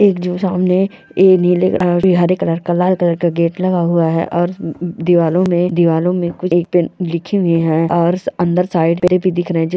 एक जो सामने ए नीले हरे कलर का लाल कलर का गेट लगा हुआ है और दीवारों में दीवारों में कुछ लिखे हुए हैं और अंदर साइड पे भी दिख रहे हैं जी --